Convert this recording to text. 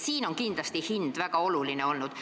Siin on kindlasti hind väga oluline olnud.